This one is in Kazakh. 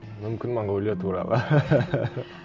мүмкін монғолия туралы